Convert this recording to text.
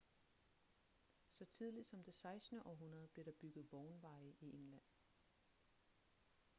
så tidligt som det 16. århundrede blev der bygget vognveje i england